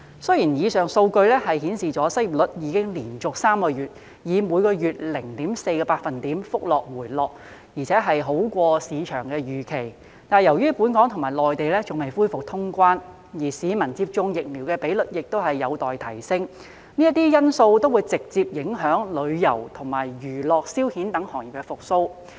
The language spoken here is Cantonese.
雖然以上數據顯示出失業率已連續3個月以每月 0.4 個百分點的幅度回落，而且好過市場預期，但由於本港與內地仍未恢復通關，而市民接種疫苗的比率亦有待提升，這些因素都會直接影響旅遊及娛樂消遣等行業的復蘇。